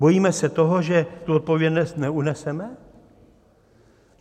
Bojíme se toho, že tu odpovědnost neuneseme?